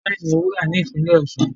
nwọn sí mí wúrà ní ìpínlè Osun.